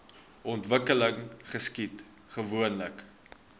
ontwikkeling geskied gewoonlik